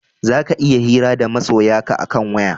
Za ka iya hira da masoya ka a kan waya